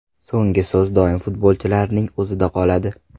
So‘nggi so‘z doim futbolchilarning o‘zida qoladi.